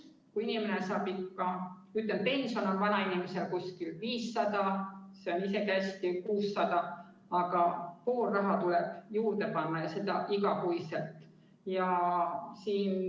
Vanainimene saab pensioni, ütleme, 500 eurot või heal juhul 600, aga pool raha tuleb ikka juurde panna ja nii iga kuu.